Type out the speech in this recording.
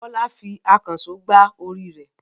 Bọ́lá fi ìkànṣó gbá orí rẹ̀.